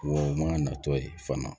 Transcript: Wa o mana natɔ ye fana